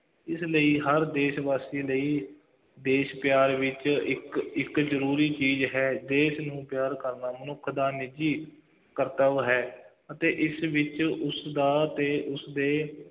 ਇਸ ਲਈ ਹਰ ਦੇਸ਼ ਵਾਸੀ ਲਈ ਦੇਸ਼ ਪਿਆਰ ਵਿੱਚ ਇੱਕ, ਇੱਕ ਜ਼ਰੂਰੀ ਚੀਜ਼ ਹੈ, ਦੇਸ਼ ਨੂੰ ਪਿਆਰ ਕਰਨਾ, ਮਨੁੱਖ ਦਾ ਨਿੱਜੀ ਕਰਤੱਵ ਹੈ ਅਤੇ ਇਸ ਵਿੱਚ ਉਸਦਾ ਅਤੇ ਉਸਦੇ